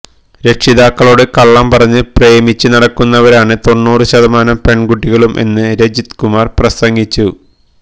രക്ഷിതാക്കളോട് കള്ളം പറഞ്ഞ് പ്രേമിച്ച് നടക്കുന്നവരാണ് തൊണ്ണൂറ് ശതമാനം പെൺകുട്ടികളും എന്നും രജിത് കുമാർ പ്രസംഗിച്ചു